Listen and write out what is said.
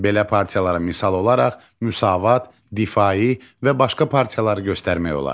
Belə partiyalara misal olaraq Müsavat, Difai və başqa partiyaları göstərmək olar.